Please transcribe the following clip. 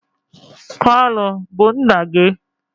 kalu bu nna gi?